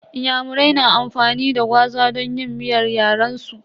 Inyamurai na amfani da gwaza don yin miyar yaren su.